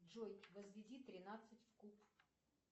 джой возведи тринадцать в куб